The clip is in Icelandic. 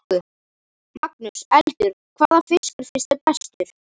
Magnús: Eldur, hvaða fiskur finnst þér bestur?